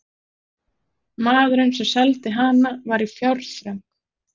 Maðurinn, sem seldi hana, var í fjárþröng.